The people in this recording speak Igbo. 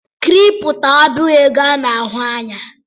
Kịrịpụtọ abụghi ego ana-ahụ ya